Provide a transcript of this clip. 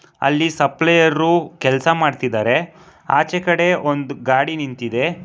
ಅಲ್ಲಿ ಸಪ್ಲೈಯರ್ ಕೆಲಸ ಮಾಡುತ್ತಿದ್ದಾರೆ ಆಚೆ ಕಡೆ ಒಂದು ಗಾಡಿ ನಿಂತಿದೆ.